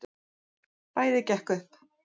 Bæði gekk upp.